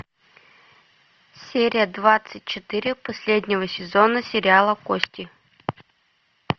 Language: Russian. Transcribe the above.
серия двадцать четыре последнего сезона сериала кости